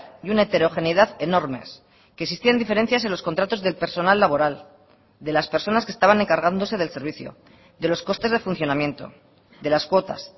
y una heterogeneidad enormes que existían diferencias en los contratos del personal laboral de las personas que estaban encargándose del servicio de los costes de funcionamiento de las cuotas